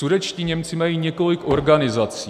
Sudetští Němci mají několik organizací.